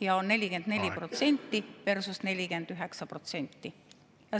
44% versus 49%.